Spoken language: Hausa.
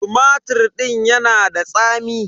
Tumatir din ya na da tsami.